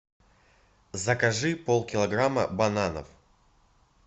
закажи пол килограмма бананов